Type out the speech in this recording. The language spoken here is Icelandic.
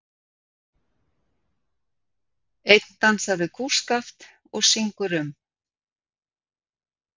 Einn dansar við kústskaft og syngur um